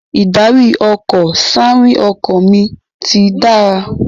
Ìdarí-ọkọ̀/síarìn ọkọ mi ti dára